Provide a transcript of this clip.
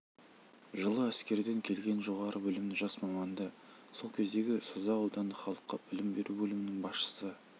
жылы әскерден келген жоғарғы білімді жас маманды сол кездегі созақ аудандық халыққа білім беру бөлімінің басшысы